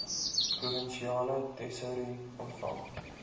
provinsiale tesourie ontvang